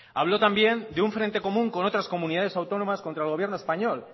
habló también de un frente común con otras comunidades autónomas contra el gobierno español